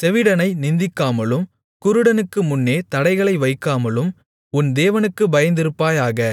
செவிடனை நிந்திக்காமலும் குருடனுக்கு முன்னே தடைகளை வைக்காமலும் உன் தேவனுக்குப் பயந்திருப்பாயாக